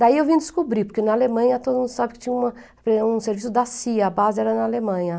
Daí eu vim descobrir, porque na Alemanha todo mundo sabe que tinha um serviço da CIA, a base era na Alemanha.